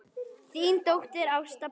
Þín dóttir, Ásta Pála.